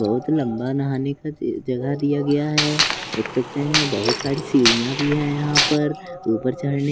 बहुत लंबा नहाने का जगह दिया गया है देख सकते हैं बहुत सारी सीढ़ियां भी है यहां पर ऊपर चढ़ने--